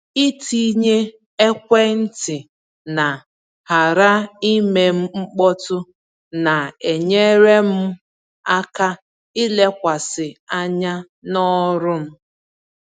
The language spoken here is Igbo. Ịtinye ekwentị na ‘ghara ime mkpọtụ’ na-enyere m aka ilekwasị anya n’ọrụ m.